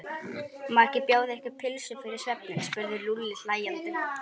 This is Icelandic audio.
Má ekki bjóða ykkur pylsu fyrir svefninn? spurði Lúlli hlæjandi.